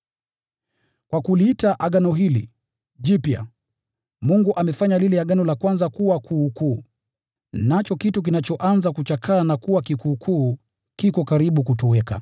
Kwa kuliita agano hili “jipya,” Mungu amefanya lile agano la kwanza kuwa kuukuu; nacho kitu kinachoanza kuchakaa na kuwa kikuukuu kiko karibu kutoweka.